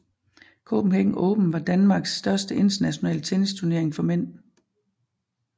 Copenhagen Open var Danmarks største internationale tennisturnering for mænd